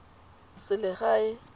selegae